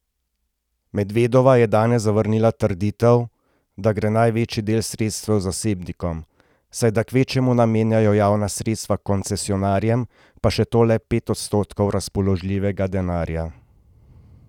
Medvedova je danes zavrnila trditev, da gre največji del sredstev zasebnikom, saj da kvečjemu namenjajo javna sredstva koncesionarjem, pa še to le pet odstotkov razpoložljivega denarja.